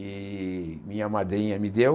E minha madrinha me deu.